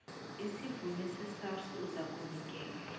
sivunywe yisars uzakunikelwa